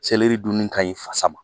selɛri dunni ka ɲi fasa ma